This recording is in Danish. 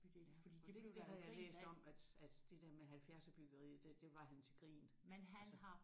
Ja og det havde jeg læst om at at det der med halvfjerdserbyggeriet det det var han til grin altså